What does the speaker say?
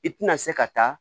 I tina se ka taa